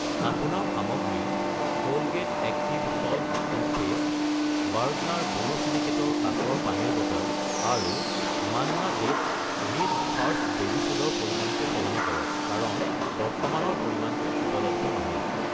আপোনাৰ সামগ্ৰী Colgate active salt toothpaste , বাৰ্গনাৰ বোৰোছিলিকেটৰ কাচৰ পানীৰ বটল আৰু Manna dates rich first baby food ৰ পৰিমাণটো সলনি কৰক কাৰণ বৰ্তমানৰ পৰিমাণটো উপলব্ধ নহয়।